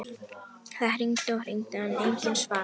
Það hringdi og hringdi en enginn svaraði.